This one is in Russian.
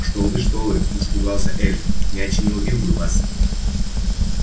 кто вы что вы испугался эльф мяч не убил бы вас